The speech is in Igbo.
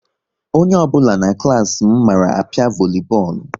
Onye ọ bụla na n'klas m mara apia volubọọlu